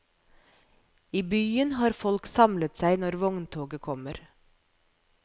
I byen har folk samlet seg når vogntoget kommer.